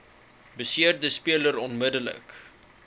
beseerde speler onmiddellik